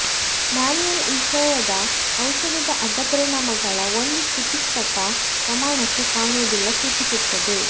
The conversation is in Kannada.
ಮ್ಯಾನುಯಲ್ ವಿಷಯದ ಔಷಧದ ಅಡ್ಡ ಪರಿಣಾಮಗಳ ಒಂದು ಚಿಕಿತ್ಸಕ ಪ್ರಮಾಣಕ್ಕೆ ಕಾಣುವುದಿಲ್ಲ ಸೂಚಿಸುತ್ತದೆ